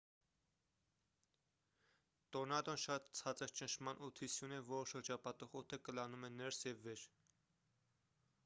տորնադոն շատ ցածր ճնշման օդի սյուն է որը շրջապատող օդը կլանում է ներս և վեր